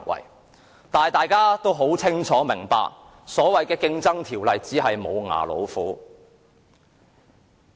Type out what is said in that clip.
不過，大家清楚明白這項《競爭條例》只是"無牙老虎"。